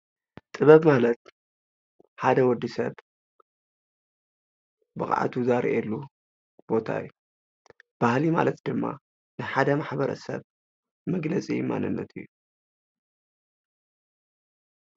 ጥበብ ማለት ሓደ ወዲ ሰብ ብቅዓቱ ዘርእየሉ ቦታ እዩ፡፡ ባህሊ ማለት ድማ ንሓደ ማሕበረሰብ መግለፂ ማንነት እዩ፡፡